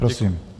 Prosím.